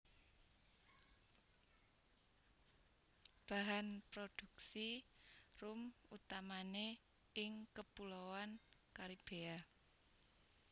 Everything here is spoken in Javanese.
Bahan produksi rum utamané ing Kepuloan Caribbea